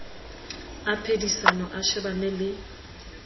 a phedisano a shebane le